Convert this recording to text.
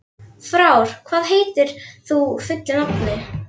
Frár, hvað heitir þú fullu nafni?